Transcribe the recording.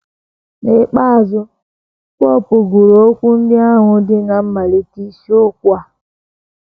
N’ikpeazụ, popu gụrụ okwu ndị ahụ dị ná mmalite isiokwu a.